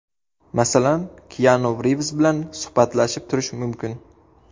Masalan, Kianu Rivz bilan suhbatlashib turish mumkin.